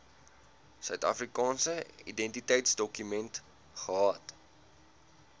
suidafrikaanse identiteitsdokument gehad